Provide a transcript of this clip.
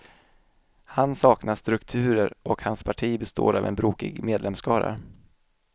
Han saknar strukturer och hans parti består av en brokig medlemsskara.